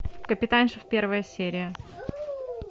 капитанша первая серия